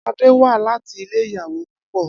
Ade wá láti ilé ìyàwó púpọ̀.